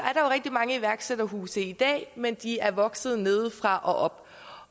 er rigtig mange iværksætterhuse i dag men de er vokset nedefra og op